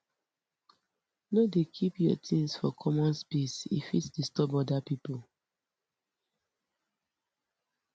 no dey keep your things for common space e fit disturb other people